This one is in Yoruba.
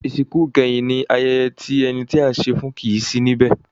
Ìsìnkú ìkẹyìn ní ayẹyẹ tí ẹni tí à ń ṣe e fún kìí sí níbẹ̀.